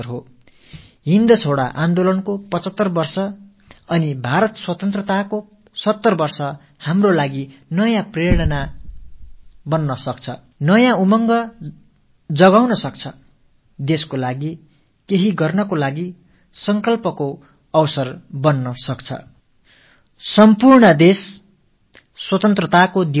வெள்ளையனே வெளியேறு இயக்கம் தோன்றி 75 ஆண்டுகளும் பாரதம் சுதந்திரமடைந்து 70 ஆண்டுகளும் நம் எல்லார் மனங்களிலும் ஒரு புதிய கருத்தூக்கத்தை ஒரு புதிய எழுச்சியை ஏற்படுத்த வல்லது இது நாட்டுக்காக ஆக்கபூர்வமான ஏதோ ஒன்றை செய்யத் தூண்டும் ஒரு வாய்ப்பை அமைத்துக் கொடுக்கலாம்